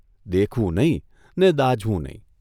દેખવું નહીં ને દાઝવું નહીં !